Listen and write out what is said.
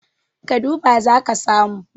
ka duba za ka samu